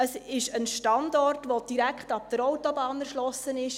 Es ist ein Standort, der direkt ab der Autobahn erschlossen ist.